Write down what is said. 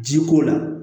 Ji ko la